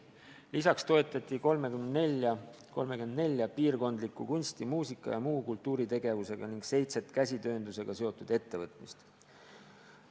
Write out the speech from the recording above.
Lisaks toetati 34 piirkondlikku kunsti-, muusika- ja muu kultuuritegevusega ning seitset käsitööndusega seotud ettevõtmist.